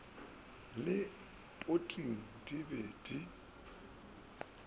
le poting di be di